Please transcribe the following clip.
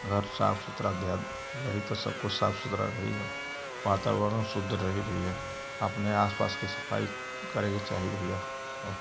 घर साफ सुथरा रही तो सब को साफ सुथरा रही वातावरण शुद्ध रही भईया आपने आस पास की सफाई करे के चाही भईया।